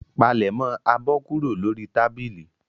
Palẹ̀mọ́ abọ́ kúrò lórí tábìlì.